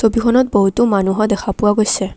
ফটোখনত বহুতো মানুহো দেখা পোৱা গৈছে।